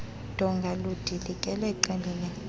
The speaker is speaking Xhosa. donga ludilikele qelele